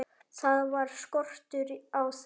Það var skortur á þeim.